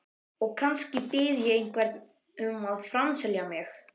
Og kannski bið ég einhvern um að framselja mig.